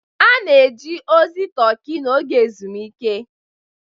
A na-eje ozi Turkey n'oge ezumike.